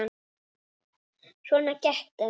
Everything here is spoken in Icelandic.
Svona gekk þetta.